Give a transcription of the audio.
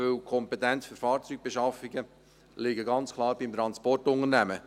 Denn die Kompetenz für Fahrzeugbeschaffungen liegt ganz klar beim Transportunternehmen.